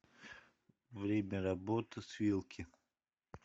время работы свилки